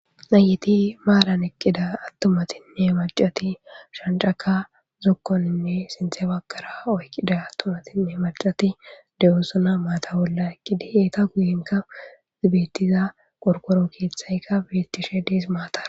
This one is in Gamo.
Nayti maran eqida. Atumatinne mac'ati Shanc'akka zokoninne sinthe bagara oyqida. Atumatinne mac'ati de'osona mata bolla eqida eta guyenika betiza qorqoro kethykka betishe Des. Mata